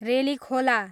Relikhola